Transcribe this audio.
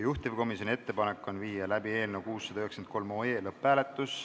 Juhtivkomisjoni ettepanek on panna eelnõu 693 lõpphääletusele.